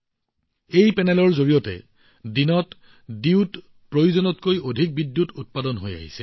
এই পেনেলবোৰৰ জৰিয়তে দিনৰ সময়ত প্ৰয়োজনতকৈ অধিক বিদ্যুৎ উৎপাদন কৰা হৈছে